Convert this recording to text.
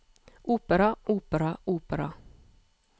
opera opera opera